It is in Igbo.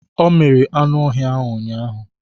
Ọ miri anụ ọhịa ahụ ụnyaahụ